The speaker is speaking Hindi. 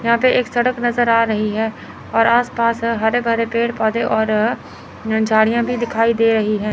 यहां पे एक सड़क नजर आ रही है और आसपास हरे भरे पेड़ पौधे और झाड़ियां भी दिखाई दे रही है।